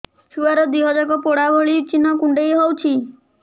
ଛୁଆର ଦିହ ଯାକ ପୋଡା ଭଳି ଚି଼ହ୍ନ କୁଣ୍ଡେଇ ହଉଛି